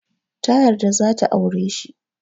Ta yarda za ta aure shi.